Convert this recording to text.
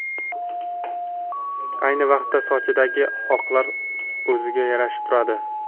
Ayni vaqtda sochidagi oqlar o‘ziga yarashib turadi.